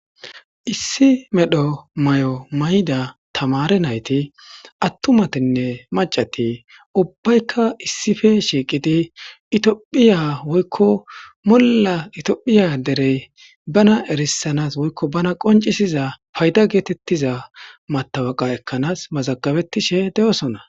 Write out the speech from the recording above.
issi medho may7o mayda tamare nayti attumatinne macati ubbaykka issife shiiqidi itiophiya woykko molla itiophiya derey bana erissanas woykko bana qoncisiza payda geetettiza matabaqa ekkanaas mazagabetishe de7osona